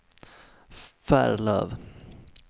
Färlöv